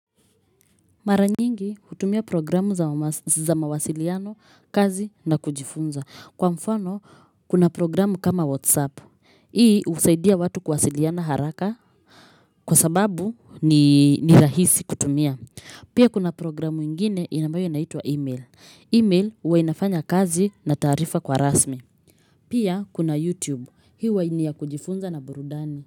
Mara nyingi hutumia programu za mawas za mawasiliano, kazi na kujifunza. Kwa mfano, kuna programu kama Whatsapp. Hii usaidia watu kuwasiliana haraka kwa sababu ni ni rahisi kutumia. Pia kuna programu ingine inambayo inaitwa email. Email uwa inafanya kazi na taarifa kwa rasmi. Pia kuna YouTube. Hiu wa inia kujifunza na burudani.